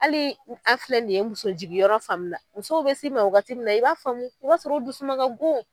Ali an filɛ nin ye musojigiyɔrɔ fan mun na musow bɛ si ma wagaati mun na i b'a faamu i b'a sɔrɔ u dusuma ka go.